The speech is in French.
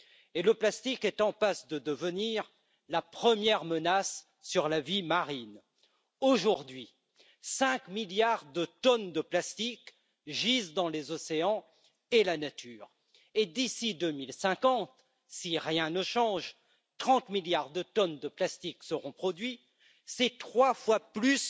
Et le plastique est en passe de devenir la première menace sur la vie marine. Aujourd'hui, cinq milliards de tonnes de plastique gisent dans les océans et dans la nature et d'ici à 2050, si rien ne change, 30 milliards de tonnes de plastique seront produites, c'est trois fois plus